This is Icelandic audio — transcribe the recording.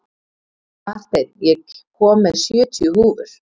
Marteinn, ég kom með sjötíu húfur!